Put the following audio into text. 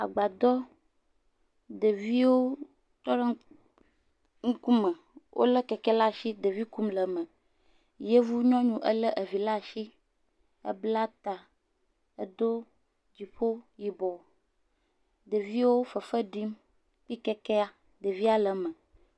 Agbadɔ, ɖeviwo tɔ ɖe ŋkume. Wolé keke ɖe asi ɖevi kum le eme. Yevu nyɔnu elé vi ɖe asi bla ta, do dziƒo yibɔ. Ɖeviwo fefe ɖim kple kekea, ɖevia le eme.